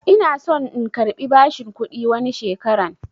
Ina son in karbi bashin kuɗi wani shekaran